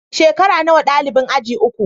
Shekara nawa dalibin aji uku?